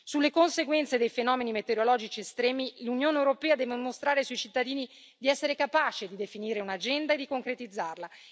Sulle conseguenze dei fenomeni meteorologici estremi l'Unione europea deve mostrare ai suoi cittadini di essere capace di definire un'agenda e di concretizzarla.